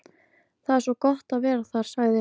Það er svo gott að vera þar, sagði